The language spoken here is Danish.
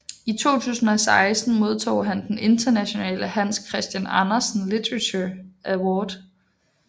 I 2016 modtog han den internationale Hans Christian Andersen Literature Award